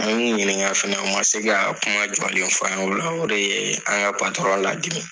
An y'u ɲiniŋa fɛnɛ, u ma se kaa kuma jɔlen f'an ye. O la o de yee an ŋa ladimi.